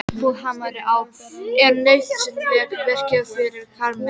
Buffhamarinn er nauðsynlegt verkfæri fyrir karlmenn.